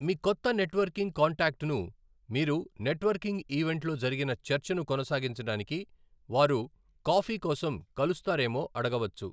మీ కొత్త నెట్వర్కింగ్ కాంటాక్ట్ను మీరు నెట్వర్కింగ్ ఈవెంట్లో జరిగిన చర్చను కొనసాగించడానికి వారు కాఫీ కోసం కలుస్తారేమో అడగవచ్చు.